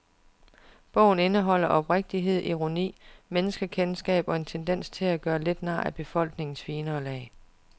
Bogen indeholder oprigtighed, ironi, menneskekendskab og en tendens til at gøre lidt nar af befolkningens finere lag.